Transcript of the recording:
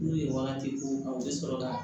N'u ye wagati f'u ye u bɛ sɔrɔ ka